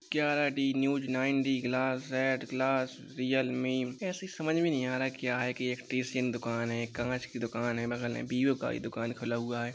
ग्यारा D news nine D glass Z glass Realme ऐसे समझ नही आ रहा क्या है की एक टीसीएन दुकान है कांच की दुकान है बगल में विवो का भी दुकान खुला हुआ है ।